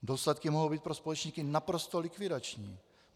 Důsledky mohou být pro společníky naprosto likvidační.